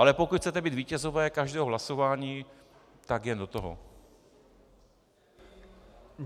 Ale pokud chcete být vítězové každého hlasování, tak jen do toho.